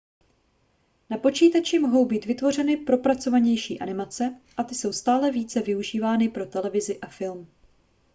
na počítači mohou být vytvořeny propracovanější animace a ty jsou stále více využívány pro televizi a film